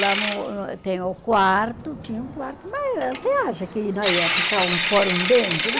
Lá no eh tem o quarto, tinha um quarto, mas você acha que nós ia ficar um fora e um dentro?